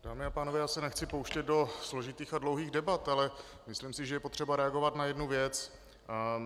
Dámy a pánové, já se nechci pouštět do složitých a dlouhých debat, ale myslím si, že je potřeba reagovat na jednu věc.